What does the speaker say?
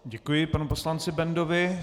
Děkuji panu poslanci Bendovi.